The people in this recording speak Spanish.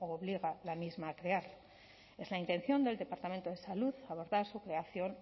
obliga la misma a crear es la intención del departamento de salud abordar su creación